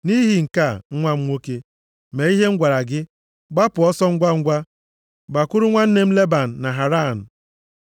Nʼihi nke a, nwa m nwoke, mee ihe m gwara gị, gbapụ ọsọ ngwangwa, gbakwuru nwanne m Leban na Haran,